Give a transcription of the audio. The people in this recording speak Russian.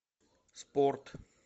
спорт